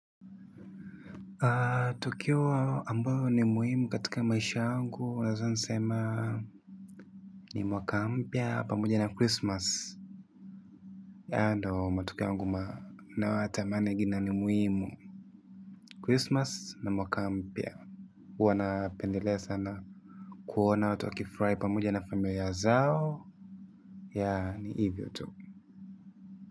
Tukio ambalo ni muhimu katika maisha yangu, naeza nisema ni mwaka mpya pamoja na christmas. Ya ndo matukio angu ma na watamane gina ni muhimu. Christmas na mwaka mpya. Uwa napendelea sana kuona watu wakifrai pamoja na familia zao. Ya ni hivyo tu.